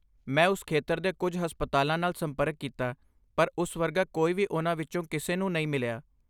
ਮੈਂ ਉਸ ਖੇਤਰ ਦੇ ਕੁਝ ਹਸਪਤਾਲਾਂ ਨਾਲ ਸੰਪਰਕ ਕੀਤਾ ਪਰ ਉਸ ਵਰਗਾ ਕੋਈ ਵੀ ਉਨ੍ਹਾਂ ਵਿੱਚੋਂ ਕਿਸੇ ਨੂੰ ਨਹੀਂ ਮਿਲਿਆ।